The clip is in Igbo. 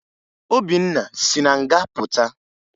Obinna si na nga pụta